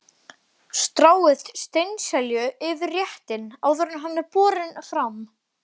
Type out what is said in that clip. Stráið steinselju yfir réttinn áður en hann er borinn fram.